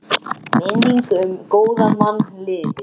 Minning um góðan mann lifir.